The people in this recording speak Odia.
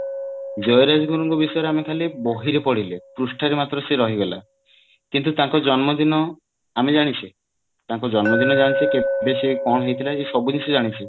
ଜୟରାଜଗୁରୁଙ୍କ ବିଷୟରେ ଆମେ ଖାଲି ବହିରେ ପଢିଲେ ପୃଷ୍ଠା ରେ ସେ ମାତ୍ର ରହିଗଲା କିନ୍ତୁ ତାଙ୍କ ଜନ୍ମ ଦିନ ଆମେ ଜାଣିଛେ ତାଙ୍କ ଜନ୍ମ ଦିନ ଜାଣିଛେ କେବେ ସେ କଣ ହେଇଥିଲା ସବୁ କିଛି ଜାଣିଛେ